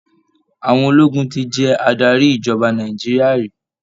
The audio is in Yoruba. Àwọn ológun ti jẹ adarí ìjọba Nàìjíríà rí.